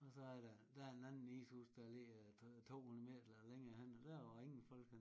Og så er der en anden ishus der ligger 2 200 meter længere henne og der var ingen folk henne